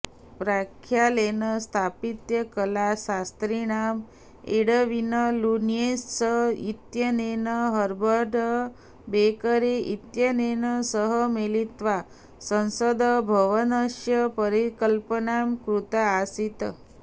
प्रख्यातेन स्थापत्यकलाशास्त्रिणा Edwin Lutyens इत्यनेन Herbert बेकरे इत्यनेन सह मिलित्वा संसद्भवनस्य परिकल्पना कृता आसीत्